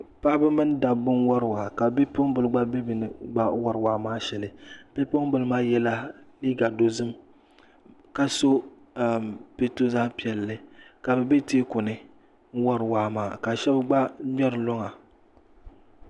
Paɣaba mini dabba n wari waa ka bipuɣing gba be bɛ ni wari waa maa shɛli bipuɣingi maa yela liiga dozim ka so pɛto zaɣpiɛlli ka be tɛɛkuni n wari waa maa ka shɛb gba ŋmeri luŋa.